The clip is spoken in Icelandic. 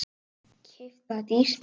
Keypt það dýrt.